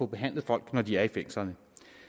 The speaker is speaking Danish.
behandlet folk når de er i fængslerne